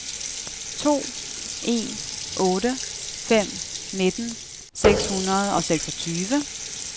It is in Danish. to en otte fem nitten seks hundrede og seksogtyve